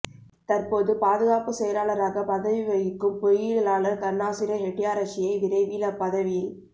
தற்போது பாதுகாப்பு செயலாளராக பதவி வகிக்கும் பொறியியலாளர் கருணாசேன ஹெட்டியாராச்சியை விரைவில் அப்பதவியில்